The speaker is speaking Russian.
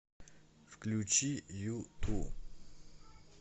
включи юту